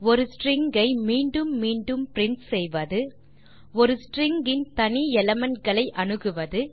ஒரு ஸ்ட்ரிங் ஐ மீண்டும் மீண்டும் பிரின்ட் செய்வது ஒரு ஸ்ட்ரிங் இன் தனி எலிமெண்ட் களை அணுகுவது